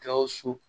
Gawusu